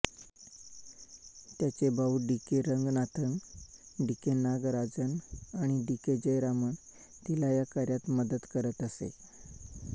त्यांचे भाऊ D K Ranganathan D K Nagarajan आणि डीके जयरामन तिला या कार्यात मदत करत असे